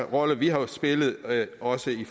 rolle vi har spillet også i